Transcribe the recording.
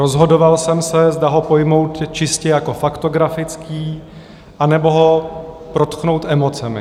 Rozhodoval jsem se, zda ho pojmout čistě jako faktografický, anebo ho protknout emocemi.